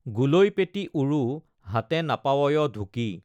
গোলৈপেটি উৰু হাতে নপাৱয় ঢুকি।